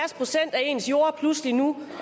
ens jord pludselig nu